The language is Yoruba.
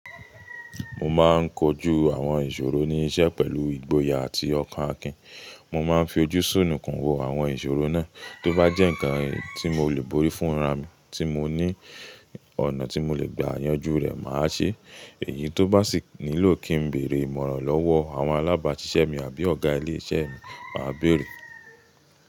Mo máa ń kojú àwọn ìṣòro ní iṣẹ́ pẹ̀lú ìgboyà àti ọkàn Akin. Mo máa ń fi ojú sùnùkun wo àwọn ìṣòro náà. Tó bá jẹ́ ǹkan tí mo lè borí fún ra mi, tí moní ọ̀nà tí mo lè gba yanjú rẹ̀, mà á ṣe é. Èyí tó bá sì nílò kí n bèrè ìmọ̀ràn lọ́wọ́ àwọn alábàáṣiṣẹ́ mi àbí ọ̀gá ilé iṣẹ́ mi, mà á bèrè.